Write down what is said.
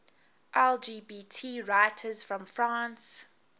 lgbt writers from france